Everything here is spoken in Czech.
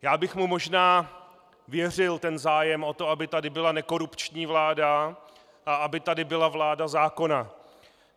Já bych mu možná věřil ten zájem o to, aby tu byla nekorupční vláda a aby tady byla vláda zákonná.